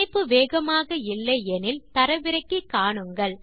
இணைப்பு வேகமாக இல்லை எனில் தரவிறக்கி காணலாம்